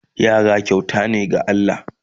Yara kyauta ne daga Allah